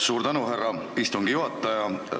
Suur tänu, härra istungi juhataja!